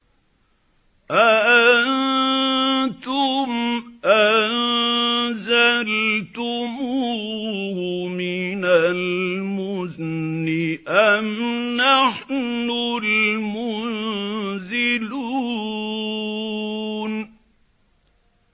أَأَنتُمْ أَنزَلْتُمُوهُ مِنَ الْمُزْنِ أَمْ نَحْنُ الْمُنزِلُونَ